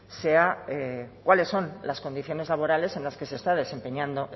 sea cuáles son las condiciones laborales en las que se está desempeñando